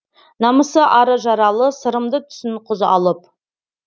намысы ары жаралы сырымды түсін құз алып